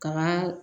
Ka